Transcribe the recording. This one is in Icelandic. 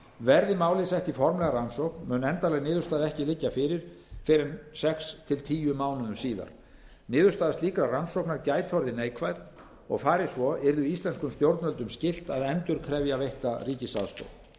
verði málið sett í formlega rannsókn mun endanleg niðurstaða ekki liggja fyrir fyrr en sex til tíu mánuðum síðar niðurstaða slíkrar rannsóknar gæti orðið neikvæð og fari svo yrði íslenskum stjórnvöldum skylt að endurkrefja veitta ríkisaðstoð